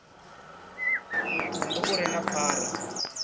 mutumbu u re na phara